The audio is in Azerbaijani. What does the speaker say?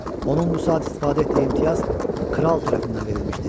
Onun bu saat istifadə etdiyi imtiyaz kral tərəfindən verilmişdi.